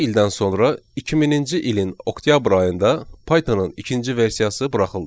Altı ildən sonra 2000-ci ilin oktyabr ayında Pythonın ikinci versiyası buraxıldı.